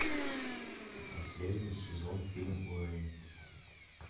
последний сезон фильм уэйн